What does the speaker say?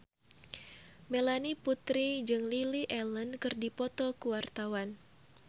Melanie Putri jeung Lily Allen keur dipoto ku wartawan